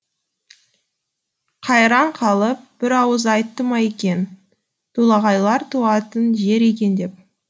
қайран қалып бір ауыз айтты ма екен толағайлар туатын жер екен деп